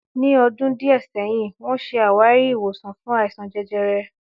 Ní ọdún díẹ̀ sẹ́yìn wọ́n ṣe àwárí ìwòsàn fún àìsàn jẹjẹrẹ